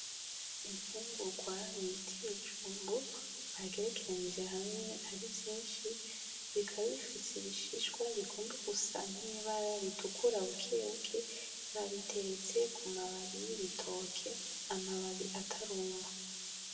Imfungugwa bita ibijumbu bagerekeranije hamwe ari vyinshi, bikaba bifise ibishishwa bigomba gusa n'ibara ritukura bukebuke, babiteretse ku mababi y'ibitoke, amababi atararuma.